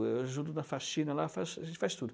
Eu ajudo na faxina lá, faz, a gente faz tudo.